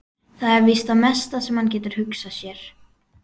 Það er víst það mesta sem hann getur hugsað sér.